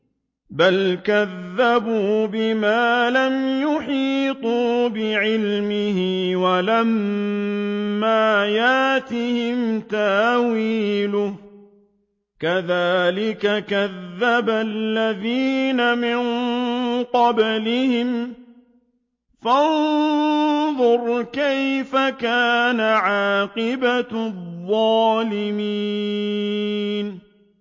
بَلْ كَذَّبُوا بِمَا لَمْ يُحِيطُوا بِعِلْمِهِ وَلَمَّا يَأْتِهِمْ تَأْوِيلُهُ ۚ كَذَٰلِكَ كَذَّبَ الَّذِينَ مِن قَبْلِهِمْ ۖ فَانظُرْ كَيْفَ كَانَ عَاقِبَةُ الظَّالِمِينَ